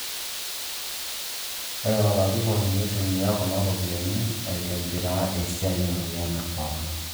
Ore olarikoni neitumia kuna ropiyiani aitobiraa esiai emoyian e Corona